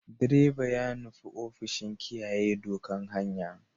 Direban ya nufi ofishin kiyaye ɗokan hanya.